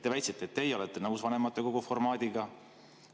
Te väitsite, et teie olete nõus vanematekogu formaadiga.